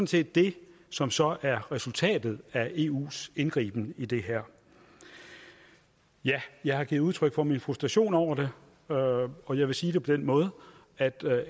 set det som så er resultatet af eus indgriben i det her ja jeg har givet udtryk for min frustration over det og og jeg vil sige det på den måde at